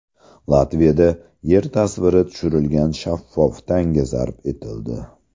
Latviyada Yer tasviri tushirilgan shaffof tanga zarb etildi.